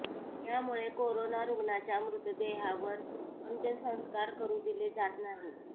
यामुळे कोरोना रुग्णांच्या मृतदेहावर अंत्यसंस्कार करू दिले जात नाही